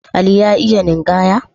Ali ya yi iyo a ninkaya?